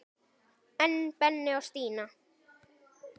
En Benni og Stína?